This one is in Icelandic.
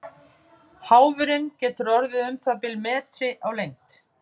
Háfurinn getur orðið um það bil metri á lengd.